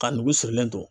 Ka nugu sirilen don